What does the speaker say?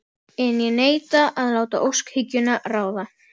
En ég neita að láta óskhyggjuna ráða.